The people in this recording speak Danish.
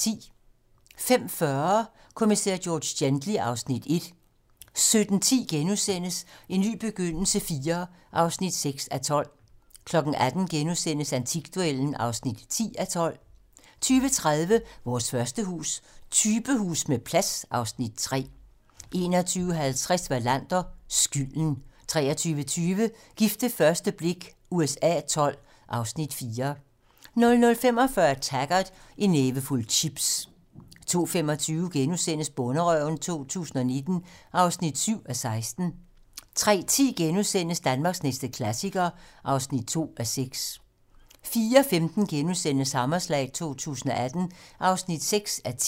15:40: Kommissær George Gently (Afs. 1) 17:10: En ny begyndelse IV (6:12)* 18:00: Antikduellen (10:12)* 20:30: Vores første hus - Typehus med plads (Afs. 3) 21:50: Wallander: Skylden 23:20: Gift ved første blik USA XII (Afs. 4) 00:45: Taggart: En nævefuld chips 02:25: Bonderøven 2019 (7:16)* 03:10: Danmarks næste klassiker (2:6)* 04:15: Hammerslag 2018 (6:10)*